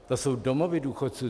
To jsou domovy důchodců.